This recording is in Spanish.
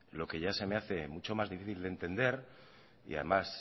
lo que ya se me hace mucho más difícil de entender y además